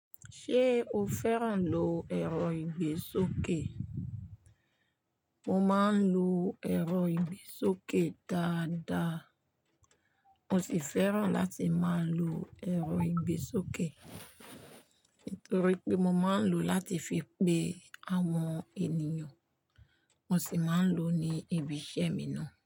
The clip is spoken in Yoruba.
Ṣé o fẹ́ràn lo èrò ìgbésókè? Mo máa ń lu èrò ìgbésókè dáadáa. Mo sì fẹ́ràn láti máa lo èrò ìgbésókè torí pé mo máa ń lo láti fi pe àwọn ènìyàn. Mo sì máa ń lo ní ibi iṣẹ́ mi náà.